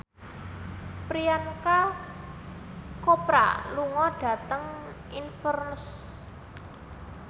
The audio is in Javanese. Priyanka Chopra lunga dhateng Inverness